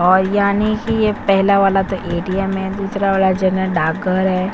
और यानी कि ये पहला वाला तो ए. टी. एम. है दूसरा वाला जनरल डाकघर है